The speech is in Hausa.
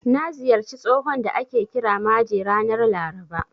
Na ziyarci tsohon da ake kira Maje ranar Laraba.